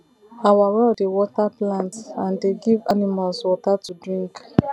our well dey water plants and dey give animals water to drink